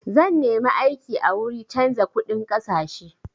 Zan nemi aiki a wuri canza kuɗin ƙasashe.